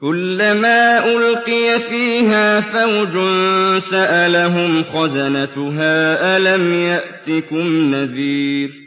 كُلَّمَا أُلْقِيَ فِيهَا فَوْجٌ سَأَلَهُمْ خَزَنَتُهَا أَلَمْ يَأْتِكُمْ نَذِيرٌ